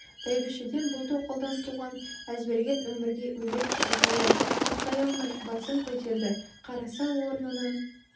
бәйбішеден бұл тоқалдан туған әзберген өмірге өлердей ызалы ұйықтай алмай басын көтерді қараса орнынан